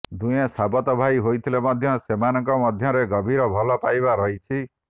ଦୁହେଁ ସାବତ ଭାଇ ହୋଇଥିଲେ ମଧ୍ୟ ସେମାନଙ୍କ ମଧ୍ୟରେ ଗଭୀର ଭଲ ପାଇବା ରହିଛି